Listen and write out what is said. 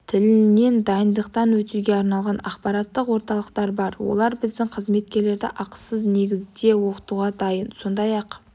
тілінен дайындықтан өтуге арналған ақпараттық орталықтар бар олар біздің қызметкерлерді ақысыз негізде оқытуға дайын сондай-ақ